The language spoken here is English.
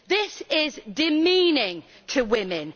This is demeaning to women.